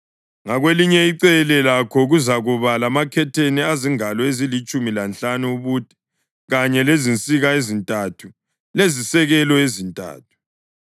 Ngakwelinye icele lakho kuzakuba lamakhetheni azingalo ezilitshumi lanhlanu ubude kanye lezinsika ezintathu lezisekelo ezintathu.